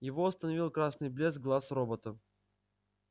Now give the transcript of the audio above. его остановил красный блеск глаз робота